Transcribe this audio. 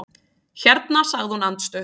Hérna sagði hún andstutt.